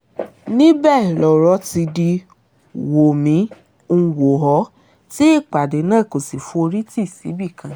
níbẹ̀ lọ̀rọ̀ ti di wó-mi-ń-wọ̀-ọ́ tí ìpàdé náà kò sì forí tì síbì kan